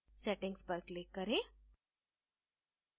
settings पर click करें